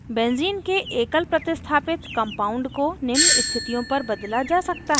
benzene के एकलप्रतिस्थापित compound को निम्न स्थितियों पर बदला जा सकता है: